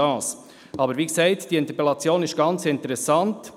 Aber wie gesagt, diese Interpellation ist sehr interessant.